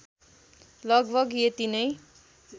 लगभग यति नै